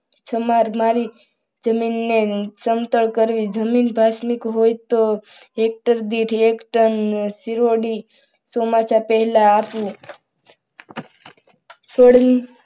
સમાર મારી જમીનને સમતલ કરવી. જમીન પાસળી હોય તો હેક્ટર દીઠ એક ટન સિરોડી ચોમાસા પહેલા આપવું